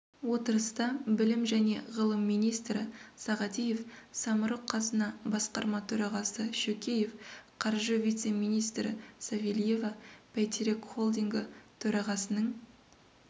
отырыста білім және ғылым министрі сағадиев самұрық-қазына басқарма төрағасы шөкеев қаржы вице-министрі савельева бәйтерек холдингі төрағасының